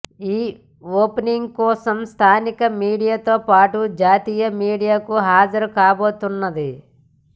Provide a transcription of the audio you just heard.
ఈ ఓపెనింగ్ కోసం స్థానిక మీడియాతో పాటు జాతీయ మీడియాకు హాజరుకాబోతున్నది